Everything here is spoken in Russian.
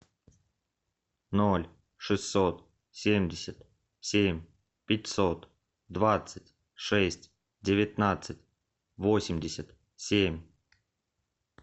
ноль шестьсот семьдесят семь пятьсот двадцать шесть девятнадцать восемьдесят семь